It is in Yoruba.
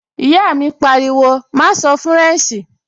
Ìyá mi pariwo, "má sọ fúrẹ̀nṣì!"